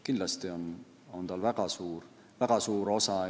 Kindlasti on tal väga suur osa.